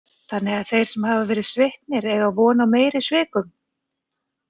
Þannig að þeir sem hafa verið sviknir eiga von á meiri svikum.